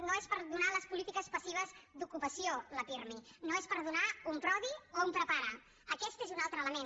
no és per donar les polítiques passives d’ocupació la pirmi no és per donar un prodi o un prepara aquest és un altre element